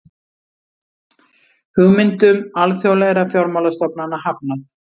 Hugmyndum alþjóðlegra fjármálastofnana hafnað